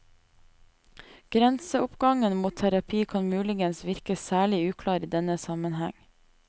Grenseoppgangen mot terapi kan muligens virke særlig uklar i denne sammenheng.